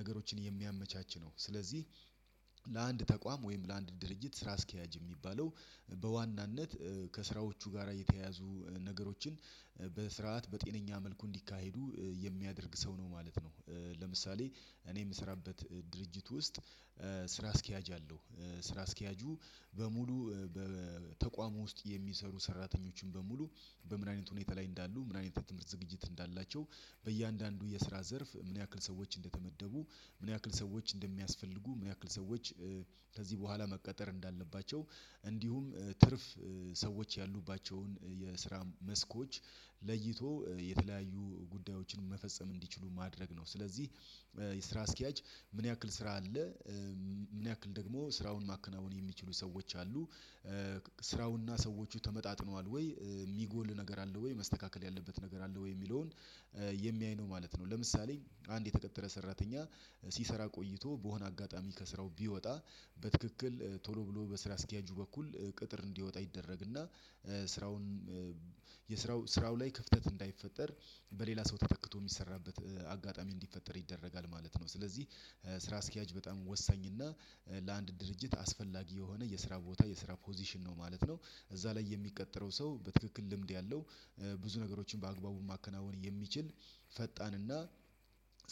ነገሮችን የሚያመቻች ነው። ስለዚህ ለአንድ ተቋም ወይም ለአንድ ድርጅት ስራ አስኪያጅ የሚባለው በዋናነት ከስራዎቹ ጋራ የተያያዙ ነገሮችን በስርዓት፣ በጤነኛ መልኩ እንዲካሄዱ የሚያደርግ ሰው ነው ማለት ነው። ለምሳሌ እኔ ምሰራበት ድርጅት ውስጥ ስራ አስኪያጅ አለው። ስራ አስኪያጁ በሙሉ በተቋሙ ውስጥ የሚሰሩ ሰራተኞችን በሙሉ በምን አይነት ሁኔታ ላይ እንዳሉ፣ ምን አይነት የትምህርት ዝግጅት እንዳላቸው፣ በእያንዳንዱ የስራ ዘርፍ ምን ያክል ሰዎች እንደተመደቡ፣ ምን ያክል ሰዎች እንደሚያስፈልጉ፣ ምን ያክል ሰዎች ከዚህ በኋላ መቀጠር እንዳለባቸው፣ እንዲሁም ትርፍ ሰዎች ያሉባቸውን የስራ መስኮች ለይቶ የተለያዩ ጉዳዮችን መፈጸም እንዲችሉ ማድረግ ነው። ስለዚህ የስራ አስኪያጅ ምን ያክል ስራ አለ? ምን ያክል ደግሞ ስራውን ማከናወን የሚችሉ ሰዎች አሉ? ስራውንና ሰዎቹ ተመጣጥኗል ወይ? ሚጎል ነገር አለ ወይ መስተካከል ያለበት ነገር አለ ወይ? ሚለውን የሚያይ ነው ማለት ነው። ለምሳሌ አንድ የተቀጠረ ሰራተኛ ሲሰራ ቆይቶ በሆነ አጋጣሚ ከስራው ቢወጣ በትክክል ቶሎ ብሎ በስራ አስኪያጁ በኩል ቅጥር እንዲወጣ ይደረግና ስራውን የስራው ስራው ላይ ክፍተት እንዳይፈጠር በሌላ ሰው ተተክቶ የሚሰራበት አጋጣሚ እንዲፈጠር ይደረጋል ማለት ነው። ስለዚህ ስራ አስኪያጅ በጣም ወሳኝና ለአንድ ድርጅት አስፈላጊ የሆነ የስራ ቦታ የስራ ፖዚሽን ነው ማለት ነው። እዛ ላይ የሚቀጠረው ሰው በትክክል ልምድ ያለው ብዙ ነገሮችን በአግባቡ ማከናወን የሚችል ፈጣንና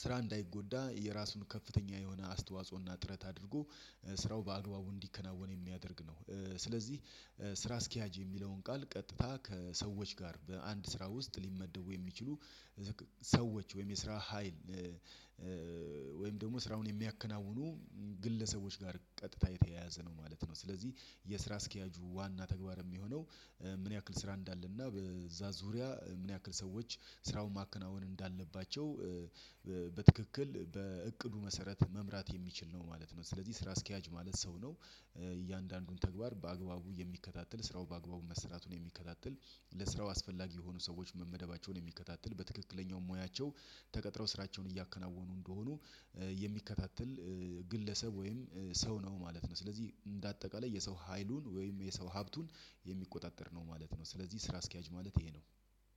ስራ እንዳይጎዳ የራሱን ከፍተኛ የሆነ አስተዋጽኦና ጥረት አድርጎ ስራው በአግባቡ እንዲከናወን የሚያደርግ ነው። ስለዚህ ስራ አስኪያጅ የሚለውን ቃል ቀጥታ ከሰዎች ጋር በአንድ ስራ ውስጥ ሊመደቡ የሚችሉ ሰዎች ወይም የስራ ሀይል ደግሞ ስራውን የሚያከናውኑ ግለሰቦች ጋር ቀጥታ የተያያዘ ነው ማለት ነው። ስለዚህ የስራ አስኪያጁ ዋና ተግባር የሚሆነው ምን ያክል ስራ እንዳለና በዛ ዙሪያ ምን ያክል ሰዎች ስራውን ማከናወን እንዳለባቸው በትክክል በእቅዱ መሰረት መምራት የሚችል ነው ማለት ነው። ስለዚህ ስራ አስኪያጅ ማለት ሰው ነው። እያንዳንዱን ተግባር በአግባቡ የሚከታተል፣ ስራው በአግባቡ መስራቱን የሚከታተል፣ ለስራው አስፈላጊ የሆኑ ሰዎች መመደባቸውን የሚከታተል፣ በትክክለኛው ሙያቸው ተቀጥረው ስራቸውን እያከናወኑ እንደሆኑ የሚከታተል፣ ግለሰብ ወይም ሰው ነው ማለት ነው። ስለዚህ እንደ አጠቃላይ የሰው ሀይሉን ወይም የሰው ሀብቱን የሚቆጣጠር ነው ማለት ነው። ስለዚህ ስራ አስኪያጅ ማለት ይሄ ነው።